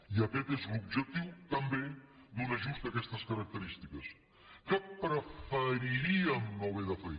i aquest és l’objectiu també d’un ajust d’aquestes característiques que preferiríem no haver de fer